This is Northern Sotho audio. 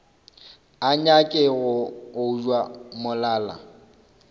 a nyake go obja molala